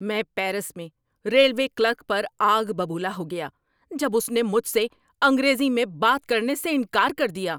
میں پیرس میں railway clerk پر آگ ببولا ہو گیا جب اس نے مجھ سے انگریزی میں بات کرنے سے انکار کر دیا۔